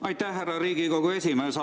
Aitäh, härra Riigikogu esimees!